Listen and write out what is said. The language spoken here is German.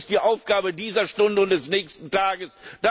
Das ist die Aufgabe dieser Stunde und des nächsten Tages.